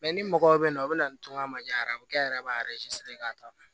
ni mɔgɔw bɛ na o bɛ na ni toŋɔni diyan a bɛ kɛ yɛrɛ b'a k'a ta